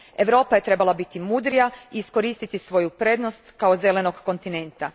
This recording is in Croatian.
Europa je trebala biti mudrija i iskoristiti svoju prednost kao zelenog kontinenta.